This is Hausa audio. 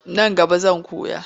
Nan gaba zan koya.